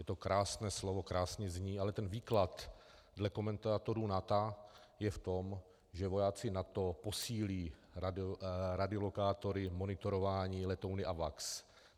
Je to krásné slovo, krásně zní, ale ten výklad dle komentátorů NATO je v tom, že vojáci NATO posílí radiolokátory monitorování letouny AWACS.